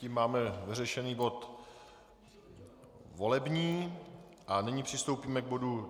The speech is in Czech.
Tím máme vyřešený bod volební a nyní přistoupíme k bodu